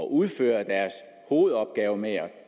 udføre deres hovedopgave med at